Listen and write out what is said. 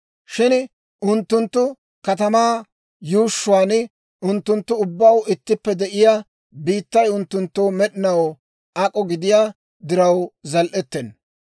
Shin unttunttu katamaa yuushshuwaan unttunttu ubbaw ittippe de'iyaa biittay unttunttoo med'inaw ak'o gidiyaa diraw zal"ettenna.